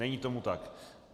Není tomu tak.